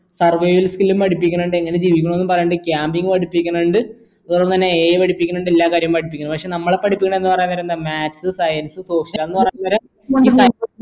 skill ഉം പഠിപ്പിക്കണിണ്ട് എങ്ങനെ ജീവിക്കണമെന്നും പറയിണ്ട് camping പഠിപ്പിക്കുന്നിണ്ട് ഒപ്പരം തന്നെ AI പഠിപ്പിക്കണിണ്ട് എല്ലാ കാര്യവും പഠിപ്പിക്കണിണ്ട് നമ്മളെ പഠിപ്പിക്കുന്നത് എന്ന് പറയുന്നേരം എന്താ maths science social